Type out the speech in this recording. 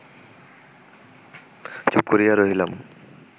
চুপ করিয়া রহিলাম